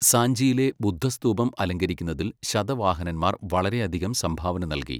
സാഞ്ചിയിലെ ബുദ്ധ സ്തൂപം അലങ്കരിക്കുന്നതിൽ ശതവാഹനന്മാർ വളരെയധികം സംഭാവന നൽകി.